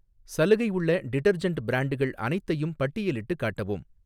சலுகை உள்ள டிடர்ஜெண்ட் பிரான்ட்கள் அனைத்தையும் பட்டியலிட்டுக் காட்டவும்.